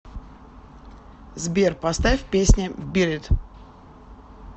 сбер поставь песня бит ит